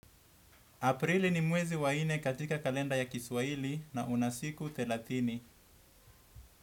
Aprili ni mwezi wa inne katika kalenda ya kiswaili na una siku thelathini.